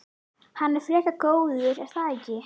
Hann er frekar góður er það ekki?